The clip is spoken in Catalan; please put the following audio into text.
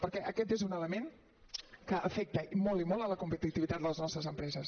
perquè aquest és un element que afecta molt i molt la competitivitat de les nostres empreses